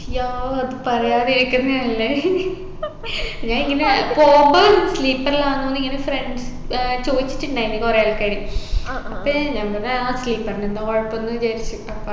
yah അത് പറയാതിരിക്കുന്നെ നല്ലെ ഞാൻ ഇങ്ങനെ പോവുമ്പം sleeper ലാന്നെന്ന് ഇങ്ങനെ friends ഏർ ചോയിച്ചിട്ടുണ്ടായിന് കുറെ ആൾകാര് അപ്പൊ എൻ ഞാൻ പറഞ്ഞ് ആ sleeper ന് എന്താ കുഴപ്പെന്ന് വിചാരിച്ചു അപ്പ